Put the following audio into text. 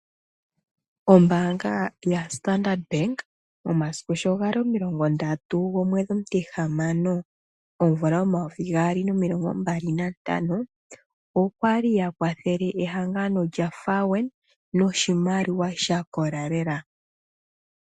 Ombaanga yaStandard Bank, omasiku sho gali omilongo ndatu, omwedhi omutihamano, omvula omayovi gaali nomilongo mbali nantano okwa li ya kwathele ehangano lyaFAWENA noshimaliwa sha kola lela.